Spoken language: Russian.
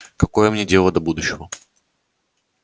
какое мне дело до будущего